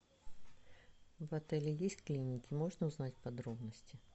в отеле есть клиники можно узнать подробности